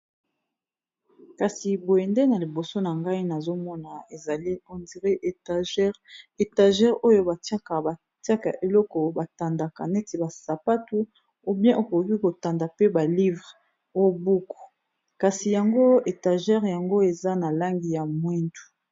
kasi boyende na liboso na ngai nazomona ezali ondiri etagere etagere oyo bikabatiaka eloko batandaka neti basapatu obien okoki kotanda pe balivre o buku kasi yango etagere yango eza na langi ya mwindu